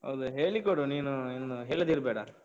ಅದೇ ಹೇಳಿ ಕೊಡು ನೀನು ಇನ್ನು, ಹೇಳದೇ ಇರ್ಬೇಡ.